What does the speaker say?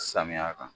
Samiya kan